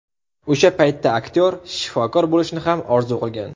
O‘sha paytda aktyor shifokor bo‘lishni ham orzu qilgan.